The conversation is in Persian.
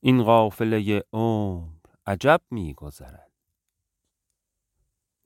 این قافله عمر عجب می گذرد